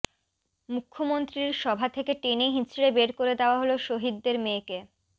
মুখ্যমন্ত্রীর সভা থেকে টেনে হিঁচড়ে বের করে দেওয়া হল শহিদের মেয়েকে